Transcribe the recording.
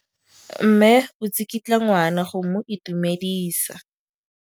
Mme o tsikitla ngwana go mo itumedisa.